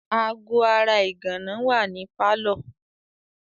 Aago ara ìgànná wà ní pálọ̀.